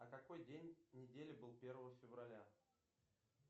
а какой день недели был первого февраля